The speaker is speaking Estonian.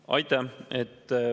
Aitäh!